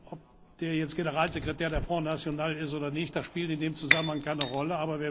Ob der jetzt Generalsekretär des Front National ist oder nicht, spielt in dem Zusammenhang keine Rolle.